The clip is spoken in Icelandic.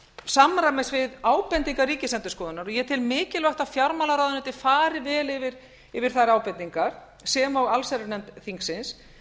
samræmis við ábendingar ríkisendurskoðunar og ég tel mikilvægt að fjármálaráðuneytið fari vel yfir þær ábendingar sem og allsherjarnefnd þingsins